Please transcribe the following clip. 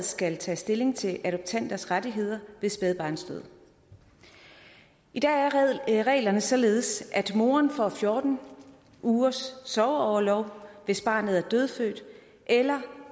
skal tage stilling til adoptanters rettigheder ved spædbarnsdød i dag er reglerne således at moren får fjorten ugers sorgorlov hvis barnet er dødfødt eller